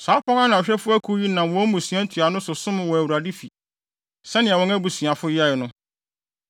Saa apon ano hwɛfo akuw yi nam wɔn mmusua ntuanofo so som wɔ Awurade fi, sɛnea wɔn abusuafo yɛe no.